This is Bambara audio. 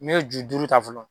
Ne ye ju duuru ta fɔlɔ